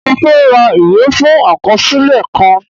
Mo fẹ́ ra ìwé fún àkọsílẹ̀ kan